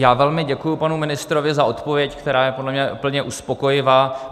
Já velmi děkuji panu ministrovi za odpověď, která je podle mě úplně uspokojivá.